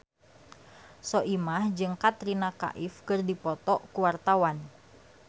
Soimah jeung Katrina Kaif keur dipoto ku wartawan